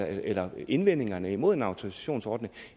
eller indvendingerne mod en autorisationsordning